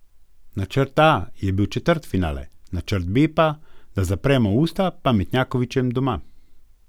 Načrt A je bil četrtfinale, načrt B pa, da zapremo usta pametnjakovičem doma.